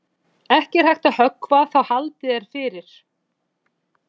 Ekki er hægt að höggva þá haldið er fyrir.